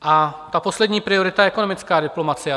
A ta poslední priorita je ekonomická diplomacie.